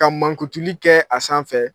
Ka mankutuli kɛ a sanfɛ